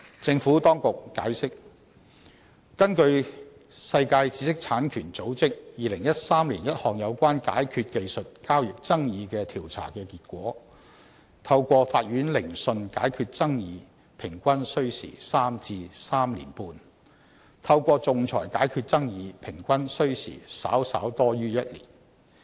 政府當局解釋，根據世界知識產權組織2013年一項有關解決技術交易爭議的調查結果，透過法院聆訊解決爭議平均需時3至3年半，透過仲裁解決爭議平均需時稍稍多於1年。